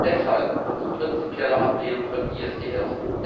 Deshalb unsere prinzipielle Ablehnung von ISDS.